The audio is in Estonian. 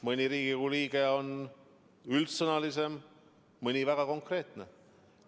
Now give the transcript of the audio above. Mõni Riigikogu liige on üldsõnalisem, mõni on väga konkreetne.